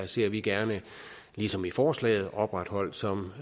ser vi gerne ligesom i forslaget opretholdt som